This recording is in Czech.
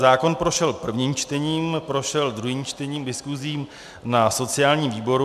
Zákon prošel prvním čtením, prošel druhým čtením, diskusí na sociálním výboru.